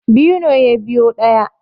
Biyu ne ya biyo ɗaya